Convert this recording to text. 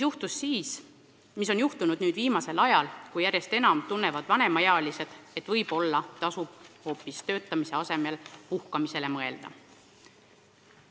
Viimasel ajal tunnevad vanemaealised järjest enam, et võib-olla tuleks töötamise asemel hoopis puhkamisele mõelda.